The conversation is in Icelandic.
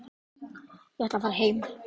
Ég ætla að fara heim.